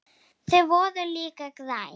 Þau voru líka græn.